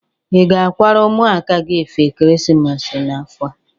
Ị ga-akwara ụmụaka gi efe ekeresimesi n'afọ a?